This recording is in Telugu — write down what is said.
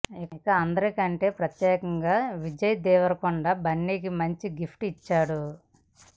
ఇక అందరికంటే ప్రత్యేకంగా విజయ్ దేవరకొండ బన్నీకి మంచి గిఫ్ట్ ఇచ్చాడు